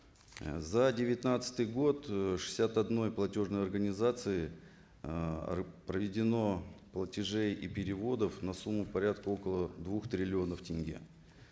за девятнадцатый год ы шестьдесят одной платежной организацией ыыы проведено платежей и переводов на сумму порядка около двух триллионов тенге